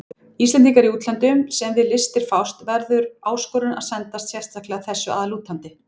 Íslendingum í útlöndum, sem við listir fást, verður áskorun að sendast sérstaklega þessu að lútandi.